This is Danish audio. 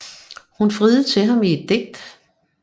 Hun friede til ham i et digt